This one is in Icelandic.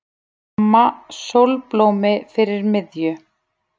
Mamma sólblómi fyrir miðju.